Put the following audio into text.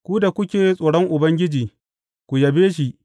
Ku da kuke tsoron Ubangiji, ku yabe shi!